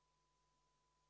V a h e a e g